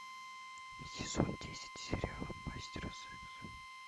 сезон десять сериала мастера секса